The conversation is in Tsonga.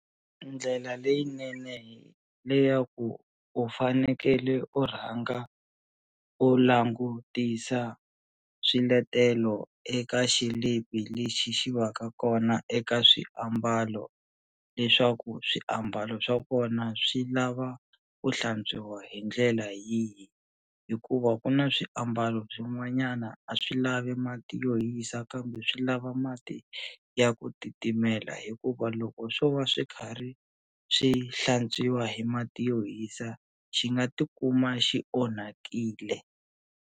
Ndlela leyinene le ya ku u fanekele u rhanga u langutisa swiletelo eka xilipi lexi xi va ka kona eka swiambalo leswaku swiambalo swa kona swi lava ku hlantswiwa hi ndlela yihi hikuva ku na swiambalo swin'wanyana a swi lavi mati yo hisa kambe swi lava mati ya ku titimela hikuva loko swo va swi karhi swi hlantswiwa hi mati yo hisa xi nga tikuma xi onhakile.